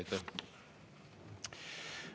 Aitäh!